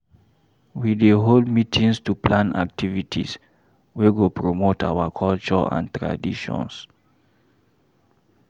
We dey hold meetings to plan activities wey go promote our culture and traditions.